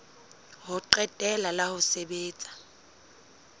ho qetela la ho sebetsa